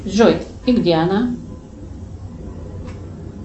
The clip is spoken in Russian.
джой и где она